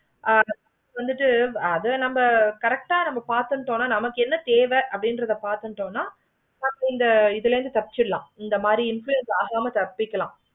ஆமா இப்போ வந்துட்டு அத நம்ம correct ஆஹ் பார்த்துட்டு நமக்கு என்ன தேவை அப்படில்லாத பார்த்துட்டு ஹம் but இந்த இதுல இருந்து தப்பிச்சிடலாம் ஆமா influence ஆக தப்பிச்சிக்கலாம்.